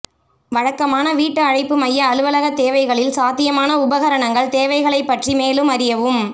வழக்கமான வீட்டு அழைப்பு மைய அலுவலகத் தேவைகளில் சாத்தியமான உபகரணங்கள் தேவைகளைப் பற்றி மேலும் அறியவும்